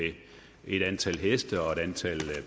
et antal heste og et antal